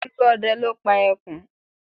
Olúọdẹ ló pa ẹkùn